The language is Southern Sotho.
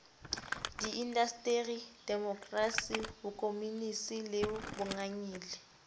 diindasteri demokrasi bokomonisi le bongangele